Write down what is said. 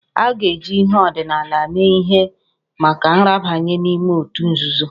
A ga-eji ihe ọdịnala mee ihe maka nrabanye n'ime otu nzuzo